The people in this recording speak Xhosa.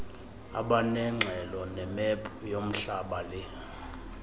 abanengxelo nemephu yomhlabale